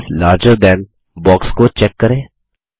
messages larger than box को check करें